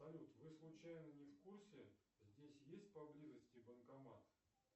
салют вы случайно не в курсе здесь есть поблизости банкомат